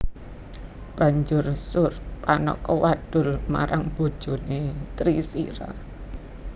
Banjur Surpanaka wadul marang bojone Trisira